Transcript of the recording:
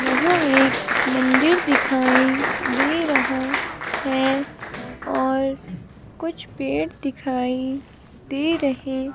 यहां एक मंदिर दिखाई दे रहा है और कुछ पेड़ दिखाई दे रहे--